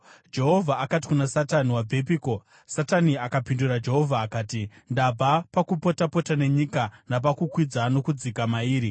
Jehovha akati kuna Satani, “Wabvepiko?” Satani akapindura Jehovha akati, “Ndabva pakupota-pota nenyika napakukwidza nokudzika mairi.”